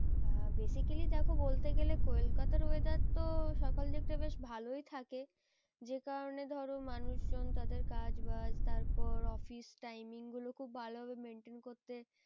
আহ basically দেখো বলতে গেলে কলকাতার weather তো সকাল দিকটা বেশ ভালোই থাকে। যে কারণে ধরো মানুষজন তাদের কাজ বাজ তারপর office timing গুলো খুব ভালোভাবে maintain করতে